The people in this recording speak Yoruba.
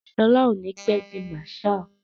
Ṣọlá ò ní pé di Marshal.